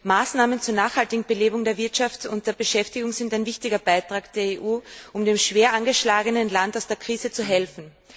Maßnahmen zur nachhaltigen Belebung der Wirtschaft und der Beschäftigung sind ein wichtiger Beitrag der EU, um dem schwer angeschlagenen Land aus der Krise zu helfen.